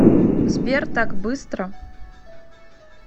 сбер так быстро